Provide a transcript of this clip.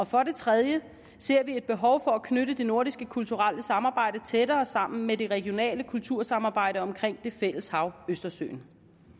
for det tredje ser vi et behov for at knytte det nordiske kulturelle samarbejde tættere sammen med det regionale kultursamarbejde omkring det fælles hav østersøen